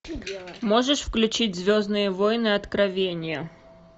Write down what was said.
можешь включить звездные воины откровения